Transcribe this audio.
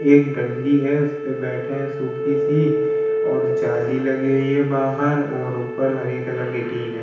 एक डंडी है। उसपे बैठे हैं सुखी सी और जाली लगी हुई है बाहर और ऊपर हरे कलर की टिन है।